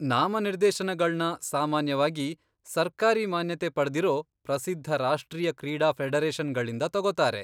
ನಾಮನಿರ್ದೇಶನಗಳ್ನ ಸಾಮಾನ್ಯವಾಗಿ ಸರ್ಕಾರಿ ಮಾನ್ಯತೆ ಪಡ್ದಿರೋ ಪ್ರಸಿದ್ಧ ರಾಷ್ಟ್ರೀಯ ಕ್ರೀಡಾ ಫೆಡರೇಷನ್ಗಳಿಂದ ತಗೋತಾರೆ.